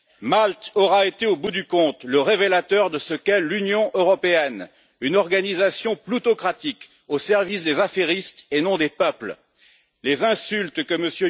Malte aura été, au bout du compte, le révélateur de ce qu'est l'Union européenne une organisation ploutocratique au service des affairistes et non des peuples. Les insultes que M.